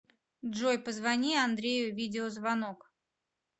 джой позвони андрею видеозвонок